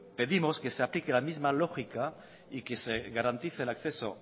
pedimos que se aplique la misma lógica y que se garantice el acceso